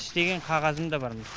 істеген қағазым да бар міне